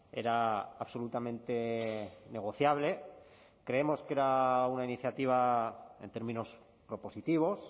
era absolutamente negociable creemos que era una iniciativa en términos propositivos